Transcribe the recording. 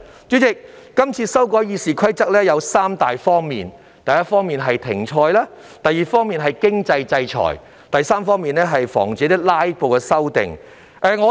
主席，《議事規則》的擬議修訂分3方面：第一，是停賽；第二，是經濟制裁；第三，是防止"拉布"出現。